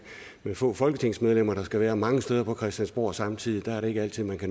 med få folketingsmedlemmer der skal være mange steder på christiansborg samtidig er det ikke altid